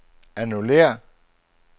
annullér